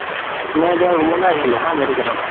তুমাৰ এতিয়া room লৈ আহিলে হা medical ৰ পৰা